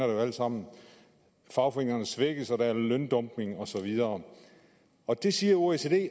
jo alle sammen fagforeningerne svækkes og der er løndumping og så videre det siger oecd